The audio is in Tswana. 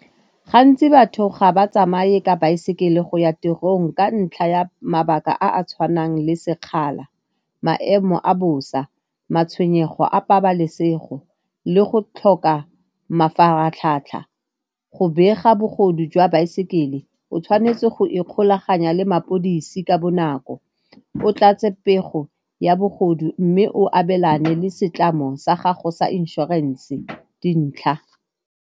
Gantsi batho ga ba tsamaye ka baesekele go ya tirong ka ntlha ya mabaka a a tshwanang le sekgala, maemo a bosa, matshwenyego a pabalesego le go tlhoka mafaratlhatlha. Go bega bogodu jwa baesekele o tshwanetse go ikgolaganya le mapodisi ka bonako, o tlatse pego ya bogodu mme o abelane le setlamo sa gago sa inšorense dintlha.